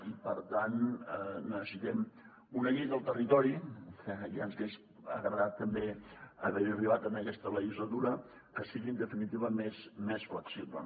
i per tant necessitem una llei del territori que ja ens hagués agradat també haver hi arribat en aquesta legislatura que sigui en definitiva més flexible